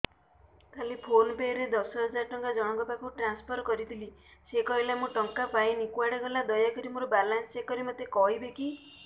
କାଲି PhonePe ରେ ଦଶ ହଜାର ଟଙ୍କା ଜଣକ ପାଖକୁ ଟ୍ରାନ୍ସଫର୍ କରିଥିଲି ସେ କହିଲା ମୁଁ ଟଙ୍କା ପାଇନି କୁଆଡେ ଗଲା ଦୟାକରି ମୋର ବାଲାନ୍ସ ଚେକ୍ କରି ମୋତେ କହିବେ କି